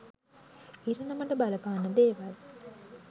ඉරණමට බලපාන දේවල්.